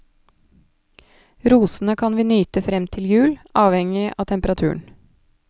Rosene kan vi nyte frem til jul, avhengig av temperaturen.